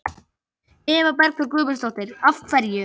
Eva Bergþóra Guðbergsdóttir: Af hverju?